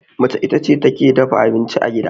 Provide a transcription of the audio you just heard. mace ita ce take dafa abinci a gida